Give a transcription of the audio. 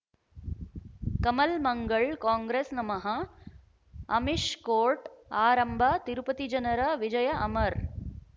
ಕಮಲ್ ಮಂಗಳ್ ಕಾಂಗ್ರೆಸ್ ನಮಃ ಅಮಿಷ್ ಕೋರ್ಟ್ ಆರಂಭ ತಿರುಪತಿ ಜನರ ವಿಜಯ ಅಮರ್